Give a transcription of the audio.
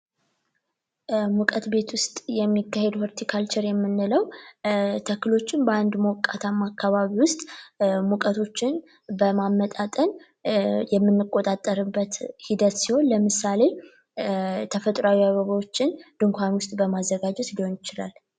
በሙቀት ቤት ውስጥ የሚካሄድ ሆርቲካልቸር የምንለው ተክሎችን በአንድ ሞቃታማ አካባቢ ውስጥ ሙቀቶችን በማመጣጠን የምንቆጣጠርበት ሂደት ሲሆን ለምሳሌ ተፈጥሯዊ አበባዎችን ድንኳን ውስጥ በማስቀመጥ ሊሆን ይችላል።